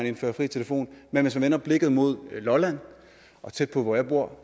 en fri telefon men hvis vi vender blikket mod lolland og tæt på hvor jeg bor